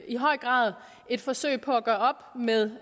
i høj grad et forsøg på at gøre op med